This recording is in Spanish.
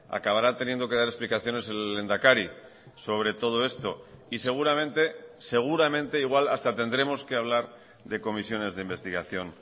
acabará teniendo que dar explicaciones el lehendakari sobre todo esto y seguramente seguramente igual hasta tendremos que hablar de comisiones de investigación